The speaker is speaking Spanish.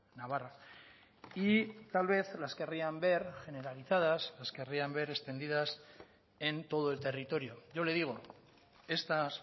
navarra y tal vez las querrían ver generalizadas las querrían ver extendidas en todo el territorio yo le digo estas